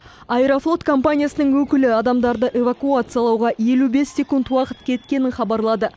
аэрофлот компаниясының өкілі адамдарды эвакуациялауға елу бес секунд уақыт кеткенін хабарлады